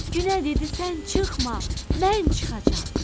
Günə dedi sən çıxma, mən çıxacam.